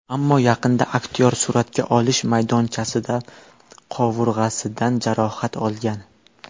Ammo yaqinda aktyor suratga olish maydonchasida qovurg‘asidan jarohat olgan.